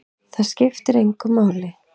Það skiptir engu máli!